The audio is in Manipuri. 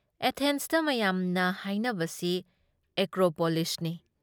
ꯑꯦꯊꯦꯟꯁꯇ ꯃꯌꯥꯝꯅ ꯍꯥꯏꯅꯕꯁꯤ ꯑꯦꯀ꯭ꯔꯣꯄꯣꯂꯤꯁꯅꯤ ꯫